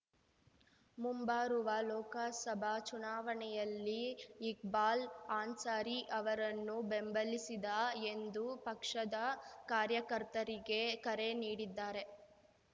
ಮುಂಬರುವ ಲೋಕಸಭಾ ಚುನಾವಣೆಯಲ್ಲಿ ಇಕ್ಬಾಲ್‌ ಅನ್ಸಾರಿ ಅವರನ್ನು ಬೆಂಬಲಿಸಿದ ಎಂದು ಪಕ್ಷದ ಕಾರ್ಯಕರ್ತರಿಗೆ ಕರೆ ನೀಡಿದ್ದಾರೆ